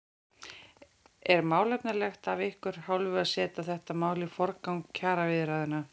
Er málefnalegt af ykkar hálfu að setja þetta mál í forgrunn kjaraviðræðna?